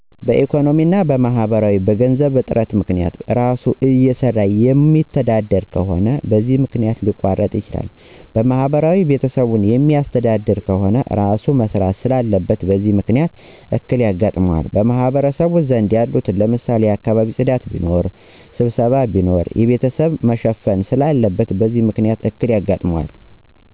ኢኮኖሚያዊ እና ማህበራዊ፦ በገንዘብ እጥረት ምክንያት፣ በእራሱ እየሰራየማተዳደር ከሆነ በዚህ መክንያት ሊያቋርጥ ይችላል። በማህበራዊ ቤተሰቦቹን ሚያሥተዳድር ከሆነ እራሡ መሥራት ስላለበት በዚህ ምክንያት እክል የጋጥመዋል። በማህበረሰቡ ዘንድ ያሉትን ለምሳሌ የአካባቢ ጽዳት ቢኖር፣ ሥብሠባ ቢኖር የቤተሰቦቹን መሸፈን ስላለበት በዚህ ምክንያት እክል ያጋጥነዋል።